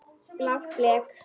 Blátt blek.